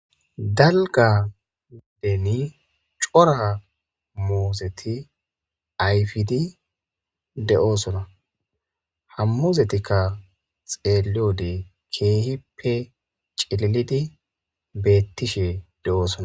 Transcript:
dalga nideni cora muozeti ayfidi de7oosona hammuzetikka xeeliode keehippe cililidi bettishe de7oosona